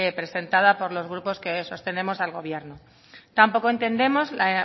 presentada por los grupos que sostenemos al gobierno tampoco entendemos la